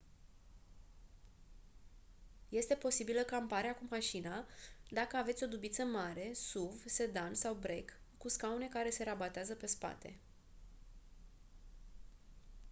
este posibilă camparea cu mașina dacă aveți o dubiță mare suv sedan sau break cu scaune care se rabatează pe spate